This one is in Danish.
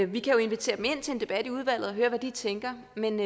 vi kan jo invitere dem ind til en debat i udvalget og høre hvad de tænker men